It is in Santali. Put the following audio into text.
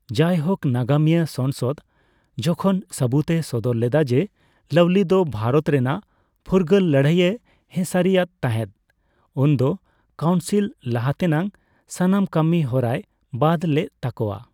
ᱡᱟᱭᱦᱳᱠ, ᱱᱟᱜᱟᱢᱤᱭᱟᱹ ᱥᱚᱝᱥᱚᱫᱽ ᱡᱚᱠᱷᱚᱱ ᱥᱟᱵᱩᱫᱽ ᱮ ᱥᱚᱫᱚᱨ ᱞᱮᱫᱟ ᱡᱮ ᱞᱟᱣᱞᱤ ᱫᱚ ᱵᱷᱟᱨᱚᱛ ᱨᱮᱱᱟᱜ ᱯᱷᱩᱨᱜᱟᱹᱞ ᱞᱟᱹᱲᱦᱟᱹᱭ ᱮ ᱦᱮᱸᱥᱟᱨᱤ ᱟᱫ ᱛᱟᱸᱦᱮᱫ, ᱩᱱᱫᱚ ᱠᱟᱣᱩᱱᱥᱤᱞ ᱞᱟᱦᱟᱛᱮᱱᱟᱜ ᱥᱟᱱᱟᱢ ᱠᱟᱹᱢᱤ ᱦᱚᱨᱟᱭ ᱵᱟᱫᱽ ᱞᱮᱫ ᱛᱟᱠᱚᱣᱟ ᱾